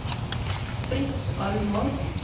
Fritz Almås